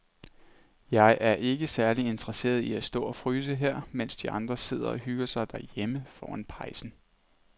Jeg er ikke særlig interesseret i at stå og fryse her, mens de andre sidder og hygger sig derhjemme foran pejsen.